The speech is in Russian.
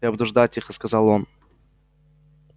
я буду ждать тихо сказал он